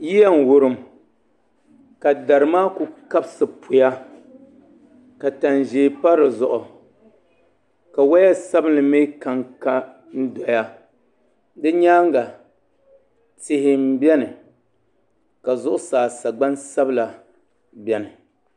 Yiya n wurim ka dari maa ku kabisi puya ka tani ʒiɛ pa dizuɣu ka woya sabinli mii kanka n doya di nyaanga tihi n biɛni ka zuɣusaa sagbani sabila biɛni